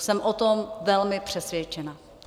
Jsem o tom velmi přesvědčena.